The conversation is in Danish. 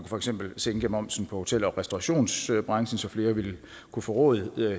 for eksempel sænke momsen for hotel og restaurationsbranchen så flere kunne få råd